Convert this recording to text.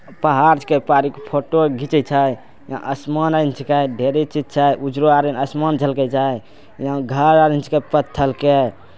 पहाड़ के पारीक फोटो घिचे छय यहाँ आसमान हय छीके उजवार आसमान छलके जाय यहाँ घर ऑरेंज के पत्थर के।